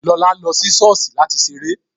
Lọlá lọ sí sọ́ọ̀sì láti ṣeré